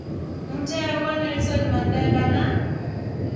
mutheo wa nelson mandela na